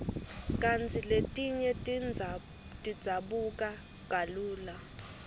kantsi letinye tidzabuka kalula